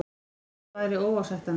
Slíkt væri óásættanlegt